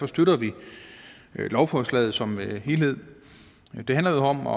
støtter vi lovforslaget som helhed det handler jo om at